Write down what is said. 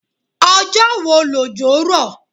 Ọjọ́ wo lòjò rọ̀?